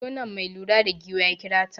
Zo nan, mai lura da giwa ya kira ta.